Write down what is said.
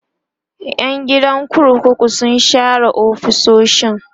Yan gidan kurkukun sun share ofisoshin